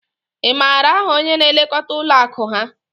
Ị maara aha onye na-elekọta ụlọ akụ ha?